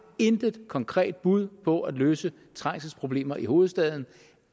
intet konkret bud på at løse trængselsproblemer i hovedstaden